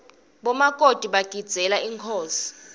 bomakoti bagidzeela inkhosi